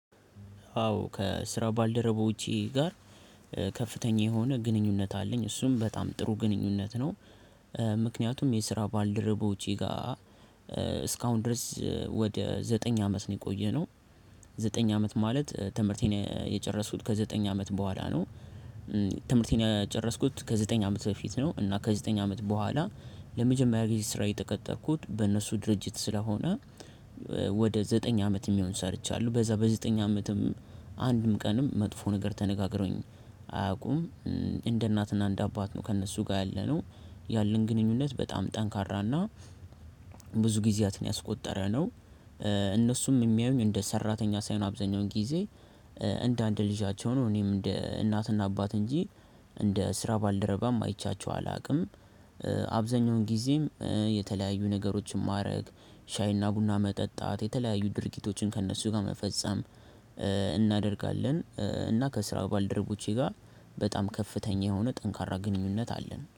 አዎ ከስራ ባልደረቦቼ ጋር ከፍተኛ የሆነ ግንኙነት አለኝ እሱም በጣም ጥሩ ግንኙነት ነው። ምክንያቱም የስራ ባልደረቦቸ ጋር እስካሁን ድረስ ወደ ዘጠኝ አመት ነው የቆየነው ዘጠኝ አመት ማለት ትምህርቴን የጨረስሁት ከዘጠኝ አመት በኋላ ነው ትምህርቴን የጨረስኩት ከዘጠኝ አመት በፊት ነው እና ከዘጠኝ አመት በኋላ ለመጀመሪያ ጊዜ ስራዬ ተቀጠርኩት በእነሱ ድርጅት ስለሆነ ወደ ዘጠኝ አመት የሚሆን ሰርቻለሁ በዛ በዘጠኝ አመትም አንድም ቀንም መጥፎ ነገር ተነጋግረውኝ አያውቁም። እንደ እናትና እንደ አባት ነው ከእነሱ ጋር ያለነው ያለን ግንኙነት በጣም ጠንካራና ብዙ ጊዜያትን ያስቆጠረ ነው እነሱም የሚያዩኝ እንደ ሰራተኛ ሳይሆን አብዛኛውን ጊዜ እንደ አንድ ልጃቸው ነው። እኔም እንደ እናትና አባት እንጂ እንደ ስራ ባልደረባም አይቻቸው አላውቅም አብዛኛውን ጊዜም የተለያዩ ነገሮችን ማድረግ ሻይና ቡና መጠጣት የተለያዩ ድርጊቶችን ከእነሱ ጋር መፈጸም እናደርጋለን እና ከስራው ባልደረቦቼ ጋር በጣም ከፍተኛ የሆነ ጠንካራ ግንኙነት አለን።